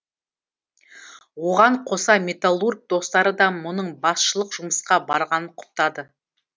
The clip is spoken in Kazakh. оған қоса металлург достары да мұның басшылық жұмысқа барғанын құптады